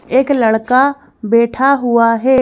एक लड़का बैठा हुआ है।